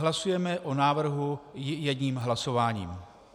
Hlasujeme o návrhu jedním hlasováním.